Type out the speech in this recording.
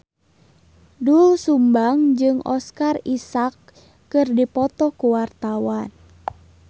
Doel Sumbang jeung Oscar Isaac keur dipoto ku wartawan